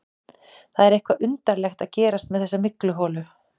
Það er eitthvað undarlegt að gerast með þessa mygluholu.